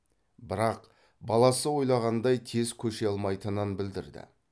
бірақ баласы ойлағандай тез көше алмайтынын білдірді